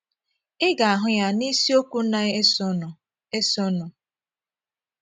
Ị ga - ahụ ya n’isiokwu na - esonụ - esonụ.